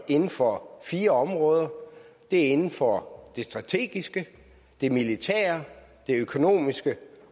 inden for fire områder det er inden for det strategiske det militære det økonomiske